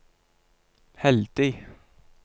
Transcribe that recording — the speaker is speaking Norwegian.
heldig